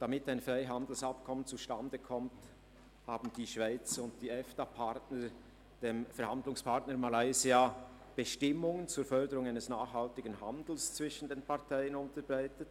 Damit ein Freihandelsabkommen zustande kommt, haben die Schweiz und die Partner der Europäischen Freihandelsassoziation (EFTA) dem Verhandlungspartner Malaysia Bestimmungen zur Förderung eines nachhaltigen Handels zwischen den Parteien unterbreitet.